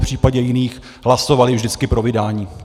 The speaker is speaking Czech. V případě jiných hlasovali vždycky pro vydání.